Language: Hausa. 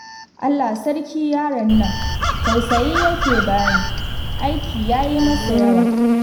Allah sarki yaron nan tausayi yake bani, aiki yayi masa yawa